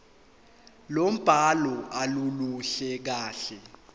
lombhalo aluluhle kahle